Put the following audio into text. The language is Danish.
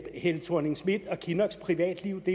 helle thorning schmidts og kinnocks privatliv